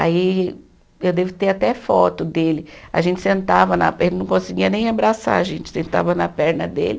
Aí, eu devo ter até foto dele, a gente sentava na, ele não conseguia nem abraçar, a gente sentava na perna dele,